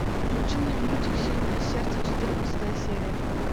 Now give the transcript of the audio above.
включи мне мультик сильное сердце четырнадцатая серия